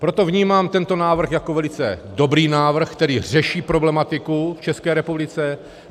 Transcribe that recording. Proto vnímám tento návrh jako velice dobrý návrh, který řeší problematiku v České republice.